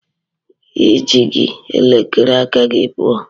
I ji gị elekere aka gị pụọ.